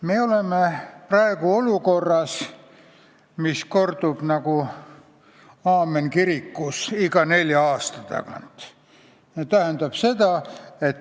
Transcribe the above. Me oleme praegu olukorras, mis kordub nagu aamen kirikus iga nelja aasta tagant.